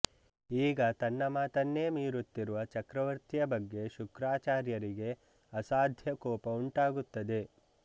ಈಗ ತನ್ನ ಮಾತನ್ನೇ ಮೀರುತ್ತಿರುವ ಚಕ್ರವರ್ತಿಯ ಬಗ್ಗೆ ಶುಕ್ರಾಚಾರ್ಯರಿಗೆ ಅಸಾಧ್ಯ ಕೋಪ ಉಂಟಾಗುತ್ತದೆ